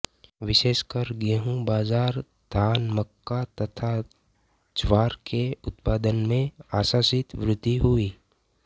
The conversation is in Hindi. विशेषकर गेहूँ बाजरा धान मक्का तथा ज्वार के उत्पादन में आशातीत वृद्धि हुई